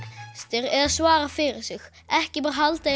eða svara fyrir sig ekki bara halda því